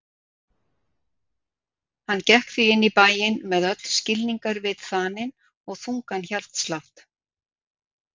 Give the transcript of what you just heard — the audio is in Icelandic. Hann gekk því inn í bæinn með öll skilningarvit þanin og þungan hjartslátt.